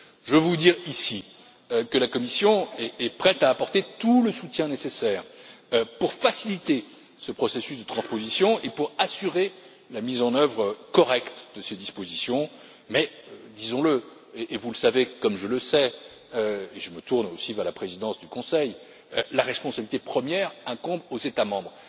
Je veux vous dire ici que la Commission est prête à apporter tout le soutien nécessaire pour faciliter ce processus de transposition et pour assurer la mise en œuvre correcte de ces dispositions mais, disons le, et vous le savez aussi bien que moi, et je me tourne aussi vers la présidence du Conseil, la responsabilité première incombe aux États membres.